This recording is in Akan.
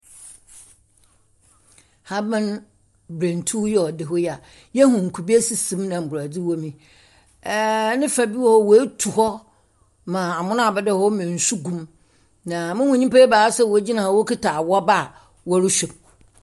Ahaban brentu a ɔda hɔ yi a, yɛhu nkube sisi mu na mborɔdze wɔ mu. Ɛɛ ne fa bi wɔ hɔ a woetu hɔ ma amena abɛda hɔ ma nsu gum, na muhu nnipa ebaasa a wɔgyina hɔ awɔba a wɔrehwɛm.